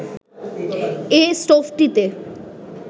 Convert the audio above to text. এ স্টোভটিতে